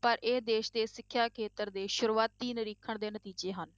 ਪਰ ਇਹ ਦੇਸ ਦੇ ਸਿੱਖਿਆ ਖੇਤਰ ਦੇ ਸ਼ੁਰੂਆਤੀ ਨਿਰੀਖਣ ਦੇ ਨਤੀਜੇ ਹਨ।